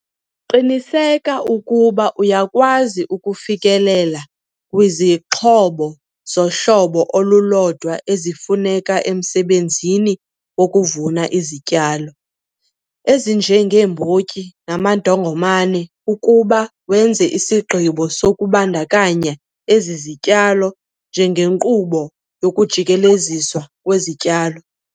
Qiniseka ukuba uyakwazi ukufikelela kwizixhobo zohlobo olulodwa ezifuneka emsebenzini wokuvuna izityalo ezinjengeembotyi namandongomane ukuba wenza isigqibo sokubandakanya ezi zityalo njengenkqubo yokujikeleziswa kwezityalo.